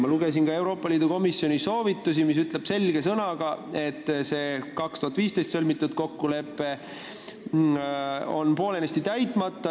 Ma lugesin ka Euroopa Komisjoni soovitusi, kus öeldakse selge sõnaga, et see 2015. aastal sõlmitud kokkulepe on poolenisti täitmata.